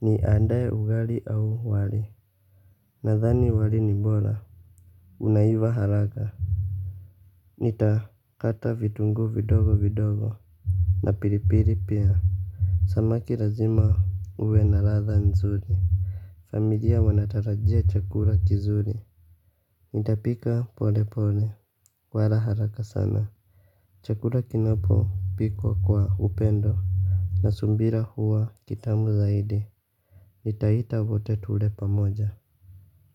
niandae ugali au wali. Nadhani wali ni bora. Unaiva haraka. Nitakata vitunguu vidogo vidogo na pilipili pia. Samaki lazima uwe na ladha nzuri. Familia wanatarajia chakula kizuri nitapika pole pole wala haraka sana. Chakula kinapopikwa kwa upendo na subira huwa kitamu zaidi nitaita vote tule pamoja.